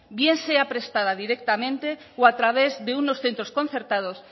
bien sea prestada directamente o a través de unos centros concertados